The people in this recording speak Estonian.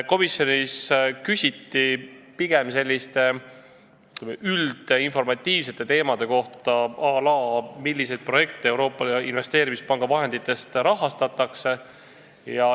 Komisjonis küsiti pigem üldinformatiivsete teemade kohta, à la milliseid projekte Euroopa Investeerimispanga vahenditest rahastatakse.